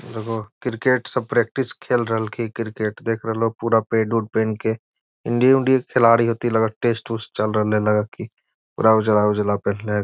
और एगो क्रिकेट सब प्रैक्टिस खेल रहल की क्रिकेट देख रेहलो पूरा पैड-उद पेहेन के इंडिया उनदिअ के खिलाड़ी हथि टेस्ट उस्त चल रहल है लग की पूरा उजला-उजला पेहेनले है ।